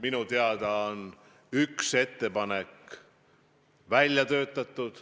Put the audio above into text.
Minu teada on üks ettepanek välja töötatud.